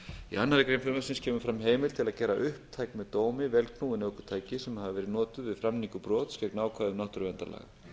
í annarri grein frumvarpsins kemur fram heimild til að gera upptæk með dómi vélknúin ökutæki sem hafa verið notuð við framningu brots gegn ákvæðum náttúruverndarlaga